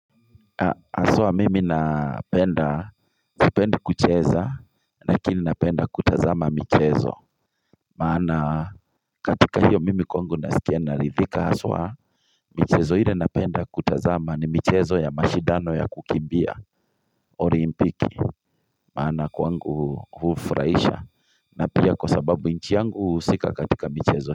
Hswa mimi napenda, sipendi kucheza, lakini napenda kutazama mchezo. Maana katika hiyo mimi kwangu nasikia naridhika haswa michezo ile napenda kutazama ni michezo ya mashidano ya kukimbia. Orimpiki, maana kwangu hufuraisha. Na pia kwa sababu nchi yangu husika katika mchezo.